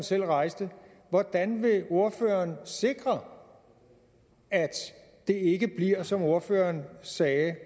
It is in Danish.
selv rejste hvordan vil ordføreren sikre at der ikke som ordføreren sagde